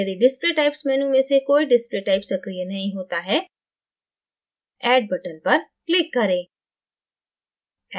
यदि display typesमेनू में से कोई display typesसक्रिय नही होता है: addबटन पर click करें